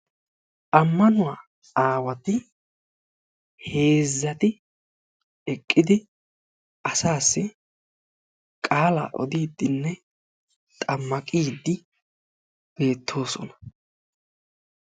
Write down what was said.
Ammanuwaa aawati heezzati eqqidi asassi qaala odiddinne xammaqide beettoosona.